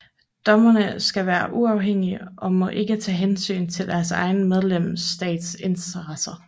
Dommerne skal være uafhængige og må ikke tage hensyn til deres egen medlemsstats interesser